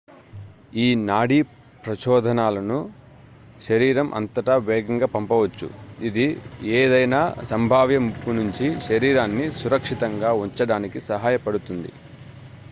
ఈ నాడీ ప్రచోదనాలను శరీరం అంతటా వేగంగా పంపవచ్చు ఇది ఏదైనా సంభావ్య ముప్పు నుంచి శరీరాన్ని సురక్షితంగా ఉంచడానికి సహాయపడుతుంది